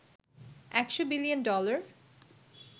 ১০০বিলিয়ন dollar